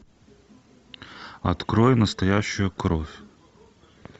открой настоящую кровь